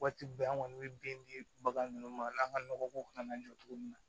Waati bɛɛ an kɔni bɛ bin bagan ninnu ma n'an ka nɔgɔ ko kana na jɔ cogo min na